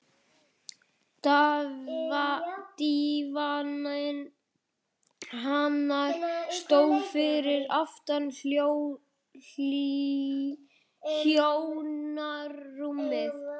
Dívaninn hennar stóð fyrir aftan hjónarúmið.